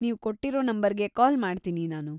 ನೀವ್ ಕೊಟ್ಟಿರೋ ನಂಬರ್‌ಗೆ ಕಾಲ್‌ ಮಾಡ್ತೀನಿ‌ ನಾನು.